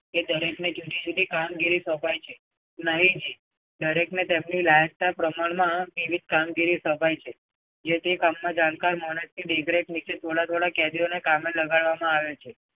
કે દરેકને જુદી જુદી કામગીરી સોંપાય છે? નહીં જી દરેકને તેમની લાયકાત પ્રમાણમાં નિમિત કામગીરી સોંપાય છે. જે તે કામમાં જાણકાર માણસ નીચે થોડા થોડા કામે લગાડવામાં આવે છે.